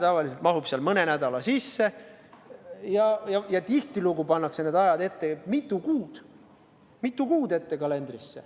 Tavaliselt see mahub mõne nädala sisse, ent tihtilugu pannakse need ajad kalendrisse mitu kuud ette.